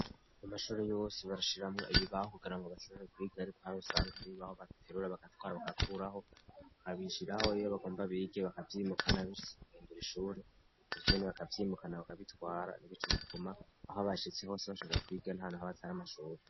Amashuri yose baushiramwo ibibaho kugira ngo bashobure kwiga, ariko harosanga aribaho baterura bagatwara bagakuraho bakabishiraho yiyo bagomba bige bakavyimukana bishitse ukendura ishure uvira ni bakavyimukana bakabitwara nibico bituma aho abashitse hose bashobora kwiga ntano ho batari amashuri.